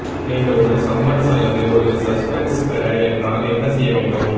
நீங்கள் ஒரு சம்மன்ஸ் அல்லது ஒரு சஸ்பென்ஸ் பெற என்றால் என்ன செய்ய வேண்டும்